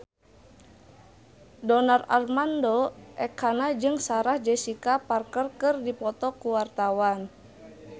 Donar Armando Ekana jeung Sarah Jessica Parker keur dipoto ku wartawan